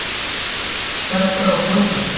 Sterkari og fljótari